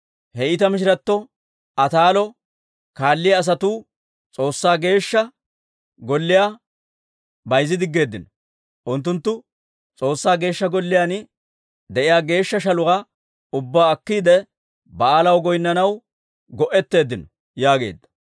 He iita mishiratto Ataalo kaalliyaa asatuu S'oossaa Geeshsha Golliyaa bayzzidiggeedino; unttunttu S'oossaa Geeshsha Golliyaan de'iyaa geeshsha shaluwaa ubbaa akkiide, Ba'aalaw goynnanaw go'etteeddino» yaageedda.